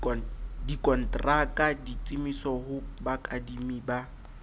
dikontraka ditiiso ho bakadimi ba